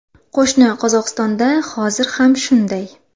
Qo‘shni Qozog‘istonda hozir ham shunday.